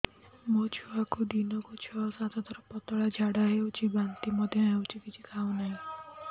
ମୋ ଛୁଆକୁ ଦିନକୁ ଛ ସାତ ଥର ପତଳା ଝାଡ଼ା ହେଉଛି ବାନ୍ତି ମଧ୍ୟ ହେଉଛି କିଛି ଖାଉ ନାହିଁ